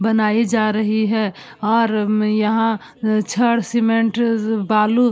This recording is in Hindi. बनाई जा रही है हर म्-यहाँ छंड़ सीमेंट स्-बालू --